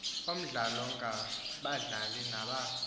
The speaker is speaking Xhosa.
omdlalo ngabadlali naba